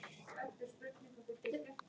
Aldrei annað.